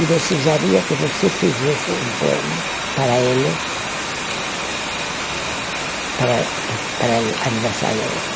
e desejaria que você fizesse um poema para ele, para o aniversário dele.